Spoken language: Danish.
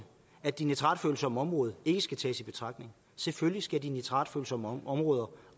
at de nitratfølsomme områder ikke skal tages i betragtning selvfølgelig skal de nitratfølsomme områder